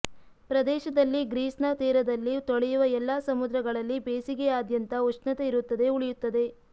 ಪ್ರದೇಶದಲ್ಲಿ ಗ್ರೀಸ್ನ ತೀರದಲ್ಲಿ ತೊಳೆಯುವ ಎಲ್ಲಾ ಸಮುದ್ರಗಳಲ್ಲಿ ಬೇಸಿಗೆಯಾದ್ಯಂತ ಉಷ್ಣತೆಯಿರುತ್ತದೆ ಉಳಿಯುತ್ತದೆ